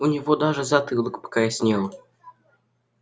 у него даже затылок покраснел